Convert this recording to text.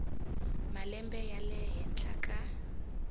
malembe ya le henhla ka